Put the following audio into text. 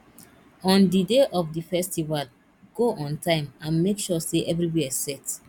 on di day of di festival go on time and make sure say everywhere set